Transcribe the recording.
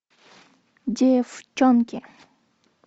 деффчонки